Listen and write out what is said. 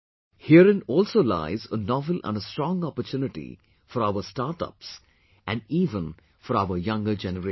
Herein also lies a novel and a strong opportunity for our startups and even for our younger generation